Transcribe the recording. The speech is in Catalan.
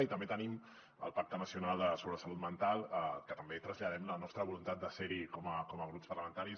i també tenim el pacte nacional sobre la salut mental que també traslladem la nostra voluntat de ser hi com a grups parlamentaris